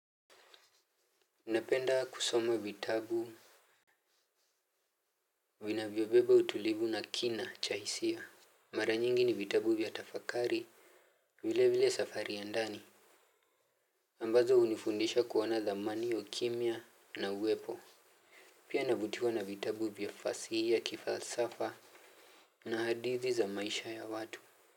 Unapenda kusoma vitabu. Vinavyobeba utulivu na kina cha hisia. Mara nyingi ni vitabu vya tafakari. Vile vile safari ya ndani. Ambazo hunifundisha kuona thamani ukimya na uwepo. Pia navutiwa na vitabu vya fasihi ya kifalsafa na hadithi za maisha ya watu.